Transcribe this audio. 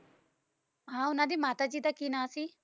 ਹਾਂ ਓਹਨਾ ਦੇ ਮਾਤਾ ਜੀ ਦਾ ਕਿ ਨਾਂ ਸੀਂ